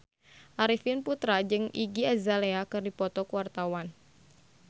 Arifin Putra jeung Iggy Azalea keur dipoto ku wartawan